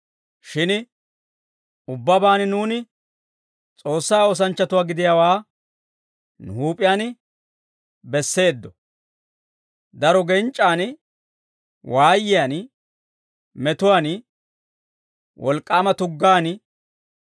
Shin ubbabaan nuuni S'oossaa oosanchchatuwaa gidiyaawaa nu huup'iyaan besseeddo; daro genc'c'an, waayiyaan, metuwaan, wolk'k'aama tuggaan,